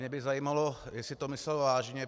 Mě by zajímalo, jestli to myslel vážně.